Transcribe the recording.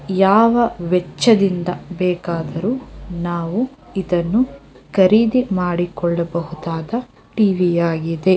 ಯಾವ ವೆಚ್ಚದಿಂದ ಬೇಕಾದರೂ ನಾವು ಇದನ್ನು ಖರೀದಿ ಮಾಡಿಕೊಳ್ಳಬಹುದಾದ ಟಿವಿ ಆಗಿದೆ.